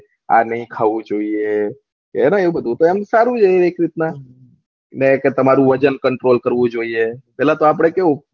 આ નહી ખાવું જોયીયે છે ને આવું બધું એ સારું રહે એક રીત ના ને એ કરતા તમારું વજન કન્ટ્રોલ કરવું જોયીયે પેહલા તો આપળે કેવું